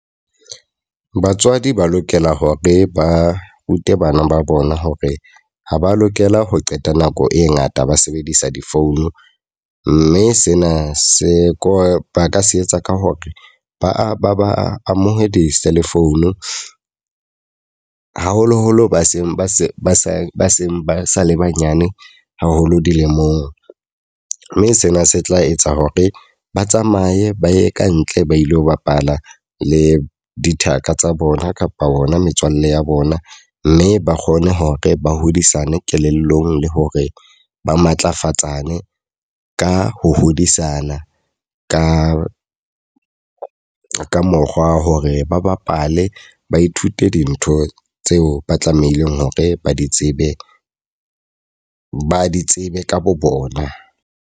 Batswadi ba lokela hore ba rute bana ba bona hore ha ba lokela ho qeta nako e ngata ba sebedisa di-phone. Mme sena se ka ba ka se etsa ka hore ba ba ba amohe di-cell phone. Haholoholo ba seng ba se ba sa ba seng ba sa le banyane haholo dilemong. Mme sena se tla etsa hore ba tsamaye ba ye kantle ba ilo bapala le dithaka tsa bona kapa ona metswalle ya bona. Mme ba kgone hore ba hodisana kelellong le hore ba matlafatsane ka ho hodisana ka ka mokgwa hore ba bapale ba ithute dintho tseo ba tlamehileng hore ba di tsebe ba di tsebe ka bo bona.